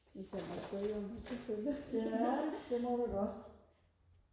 hvis jeg må spørge om det selvfølgelig